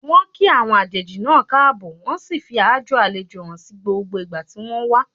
Wọ́n kí àwọn àjèjì náà káàbọ̀, wọ́n sì fi aájò àlejò hàn ní gbogbo ìgbà tí wọ́n wà.